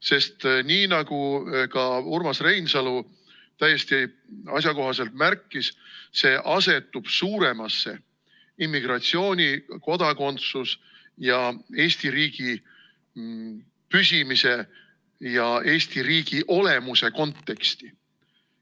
Sest nii nagu ka Urmas Reinsalu täiesti asjakohaselt märkis, see asetub suuremasse immigratsiooni, kodakondsuse ja Eesti riigi püsimise ja Eesti riigi olemuse konteksti.